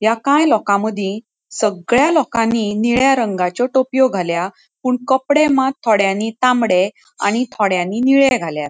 एकाय लोका मदि सगळ्या लोकानी निळ्या रंगाच्यो टोप्यो घाल्या पुन कपड़े मात थोड्यानि तामड़े आणि थोड्यानि निळे घाल्यात.